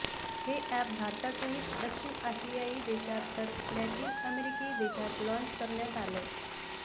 हे अॅप भारतासहीत दक्षिण आशियाई देशात तर लॅटिन अमेरिकी देशात लॉन्च करण्यात आलंय